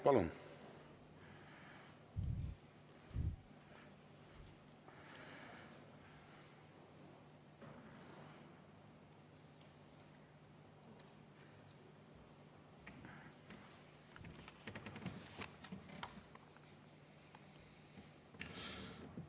Palun!